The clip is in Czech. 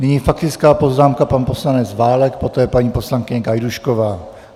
Nyní faktická poznámka - pan poslanec Válek, poté paní poslankyně Gajdůšková.